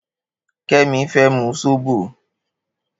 Kemi fè mú sóbó